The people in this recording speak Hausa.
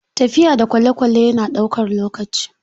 Tafiya da kwalekwale yana ɗaukar lokaci.